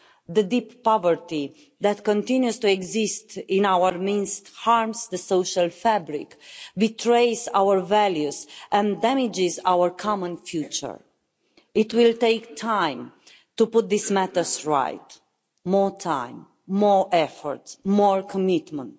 The deep poverty that continues to exist in our midst harms the social fabric, betrays our values and damages our common future. It will take time to put this matter right more time, more effort and more commitment.